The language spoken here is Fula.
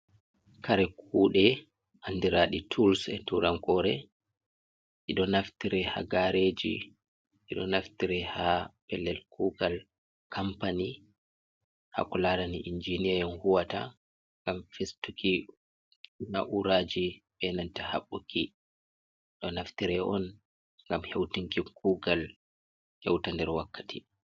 Kare kuɗe, anɗiraɗi tools be turankore. Ɗiɗo naftire ha gareji. Ɗiɗo naftire ha pellel kugal kampani, ha ko larani injiniya on huwata. Ngam festuki na'uraji be nanta habbuki. Ɗiɗo naftire on ngam heutinki kugal heuta nɗer wakkati.